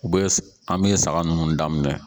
U bɛ an bɛ saga ninnu daminɛ.